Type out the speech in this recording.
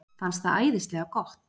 Fannst það æðislega gott.